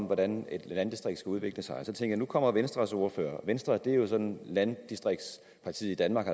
hvordan et landdistrikt skal udvikle sig så kommer venstres ordfører og venstre er jo sådan landdistriktspartiet i danmark